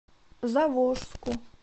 заволжску